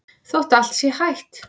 Þótt allt sé hætt?